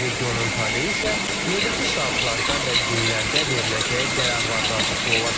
Regionun taleyi isə növbəti saatlarda və günlərdə veriləcəyi qərarlardan asılı olacaq.